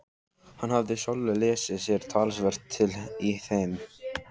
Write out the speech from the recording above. Hann hafði sjálfur lesið sér talsvert til í þeim.